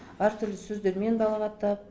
әртүрлі сөздермен балағаттап